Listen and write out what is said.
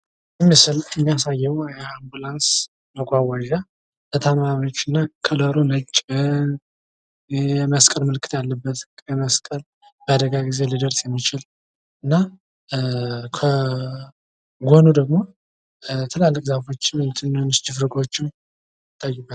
ይህ ምስል የሚያሳየው የአምቡላንስ መጎጎዣ ታማሚዎችና ከለሩ ነጭ የመስቀል ምልክት ያለበት ፣ የመስቀል በአደጋ ጊዜ ሊደርስ የሚችል ከጎኑ ደግሞ ትላልቅ ዛፎች ወይም ትንንሽ ሽፍጎች ይታዩበት ።